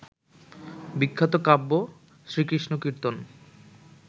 বিখ্যাত কাব্য শ্রীকৃষ্ণকীর্তন